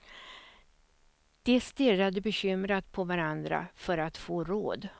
De stirrade bekymrat på varandra för att få råd.